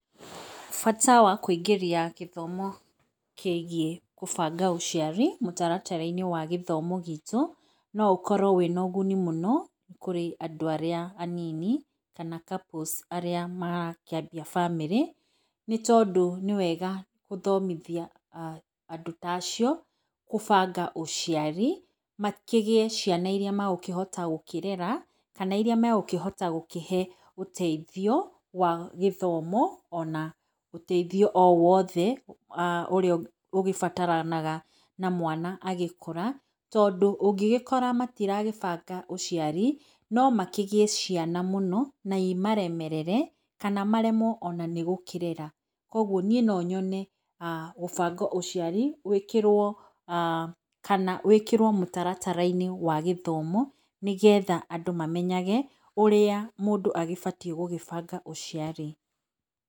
Bata wa kũingĩria gũthomo kĩgiĩ gũbanga ũciari, mũtaratara wa gĩthomo gitũ, no ũkorwo wĩna ũguni mũno, kũrĩ andũ arĩa anini, kana couples arĩa marakĩambia bamĩrĩ, nĩ tondũ nĩ wega gũthomithia andũ tacio, kũbanga ũciari, makĩgĩe ciana iria mekũhota gũkĩrera, kana iria mekũhota kũhe ũteithio, wa gĩthomo ona ũteithio o wothe, ũrĩa ũgĩbataranaga na mwana agĩkũra, tondũ ũngĩgĩkora matirabanga ũciari, no makĩgĩe ciana mũno, na imaremerere, kana maremwo ona nĩ gũkĩrera. Koguo niĩ nonyone gũbanga ũciari gũĩkĩrwo, kana wĩkĩrwo mũtaratara-inĩ wa gĩthomo, nĩgetha andũ mamenyage ũrĩa mũndũ agĩbatiĩ gũgĩbanga ũciari.